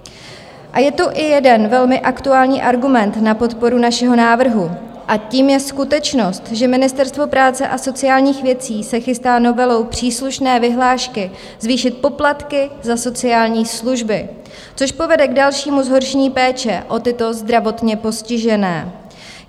A je tu i jeden velmi aktuální argument na podporu našeho návrhu, a tím je skutečnost, že Ministerstvo práce a sociálních věcí se chystá novelou příslušné vyhlášky zvýšit poplatky za sociální služby, což povede k dalšímu zhoršení péče o tyto zdravotně postižené.